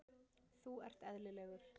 Þú ert eðlilegur.